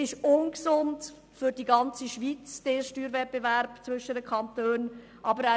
Dieser Steuerwettbewerb zwischen den Kantonen ist für die ganze Schweiz ungesund.